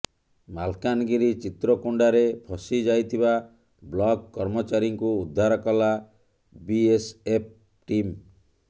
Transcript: ମାଲକାନଗିରି ଚିତ୍ରକୋଣ୍ଡାରେ ଫସିଯାଇଥିବା ବ୍ଲକ କର୍ମଚାରୀଙ୍କୁ ଉଦ୍ଧାର କଲା ବିଏସଏଫ ଟିମ